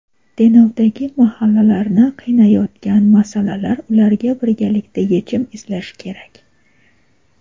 Denovdagi mahallalarni qiynayotgan masalalar: ularga birgalikda yechim izlash kerak.